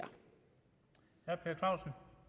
er